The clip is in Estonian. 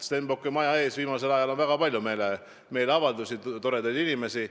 Stenbocki maja ees on viimasel ajal olnud väga palju meeleavaldusi, toredaid inimesi.